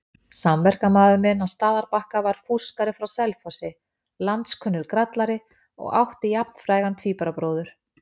Samverkamaður minn á Staðarbakka var fúskari frá Selfossi, landskunnur grallari og átti jafnfrægan tvíburabróður.